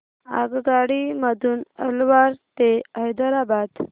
आगगाडी मधून अलवार ते हैदराबाद